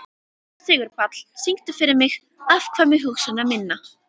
Sigurpáll, syngdu fyrir mig „Afkvæmi hugsana minna“.